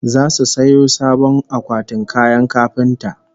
Zasu sayo sabon akwatin kayan kafinta